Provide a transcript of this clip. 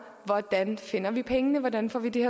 hvordan vi finder pengene hvordan får vi det